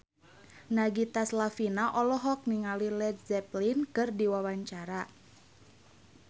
Nagita Slavina olohok ningali Led Zeppelin keur diwawancara